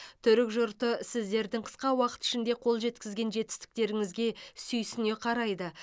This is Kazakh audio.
түрік жұрты сіздердің қысқа уақыт ішінде қол жеткізген жетістіктеріңізге сүйсіне қарайды